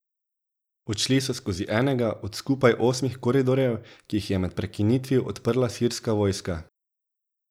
Odšli so skozi enega od skupaj osmih koridorjev, ki jih je med prekinitvijo odprla sirska vojska.